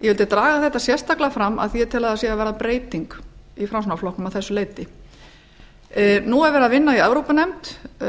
ég vildi draga þetta sérstaklega fram af því ég tel að það sé að verða breyting í framsóknarflokknum að þessu leyti nú er verið að vinna í evrópunefnd